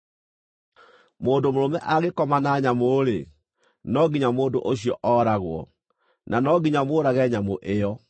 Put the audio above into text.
“ ‘Mũndũ mũrũme angĩkoma na nyamũ-rĩ, no nginya mũndũ ũcio ooragwo, na no nginya mũũrage nyamũ ĩyo.